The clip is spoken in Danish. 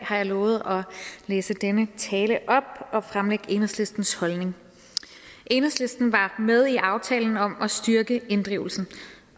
har jeg lovet at læse denne tale op og fremlægge enhedslistens holdning enhedslisten var med i aftalen om at styrke inddrivelsen